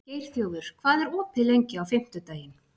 Geirþjófur, hvað er opið lengi á fimmtudaginn?